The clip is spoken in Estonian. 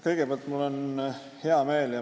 Kõigepealt ma tunnustan teid.